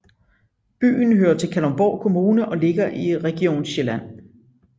Byen hører til Kalundborg Kommune og ligger i Region Sjælland